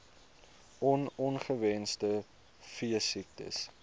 on ongewenste veesiektes